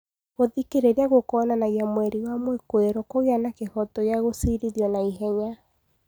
Gũthikĩrĩria gũkoonanagia mweri wa mwikuirwo kũgĩa na kĩhooto gĩa gũciirithio na ihenya